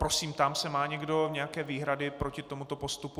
Prosím, ptám se - má někdo nějaké výhrady proti tomuto postupu?